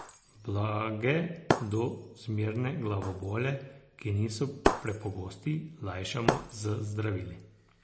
Blage do zmerne glavobole, ki niso prepogosti, lajšamo z zdravili.